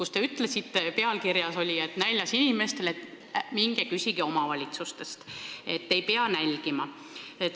Selle pealkiri oli umbes selline, et teie ütlete näljas inimestele: minge küsige omavalitsusest, ei pea nälgima.